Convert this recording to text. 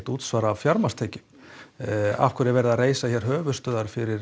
útsvar af fjármagnstekjunum af hverju er verið að reisa höfuðstöðvar fyrir